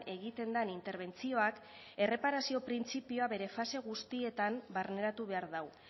egiten den interbentzioak erreparazio printzipioa bere fase guztietan barneratu behar du